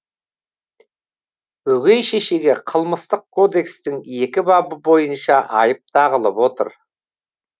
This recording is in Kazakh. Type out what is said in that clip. өгей шешеге қылмыстық кодекстің екі бабы бойынша айып тағылып отыр